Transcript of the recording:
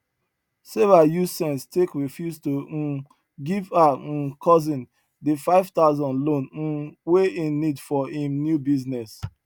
sarah use sense take refuse to um give her um cousin di five thousand loan um wey hin need for him new business